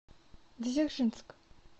дзержинск